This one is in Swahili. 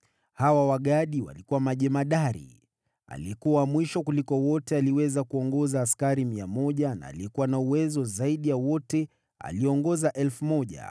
Hawa Wagadi walikuwa majemadari. Aliyekuwa wa mwisho kuliko wote aliweza kuongoza askari 100, na aliyekuwa na uweza zaidi ya wote aliongoza 1,000.